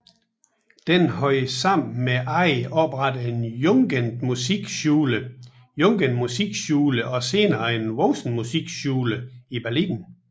Denne havde sammen med andre oprettet en Jugendmusikschule Jugendmusikschule og senere en Volksmusikschule I Berlin